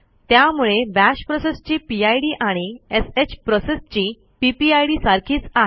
त्यामुळे बाश प्रोसेसची पिड आणि श प्रोसेसची पीपीआयडी सारखीच आहे